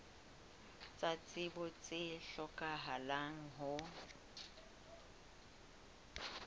tsa tsebo tse hlokahalang ho